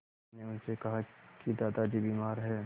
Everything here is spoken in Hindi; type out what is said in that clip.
मैंने उनसे कहा कि दादाजी बीमार हैं